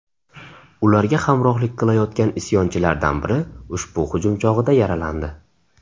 Ularga hamrohlik qilayotgan isyonchilardan biri ushbu hujum chog‘ida yaralandi.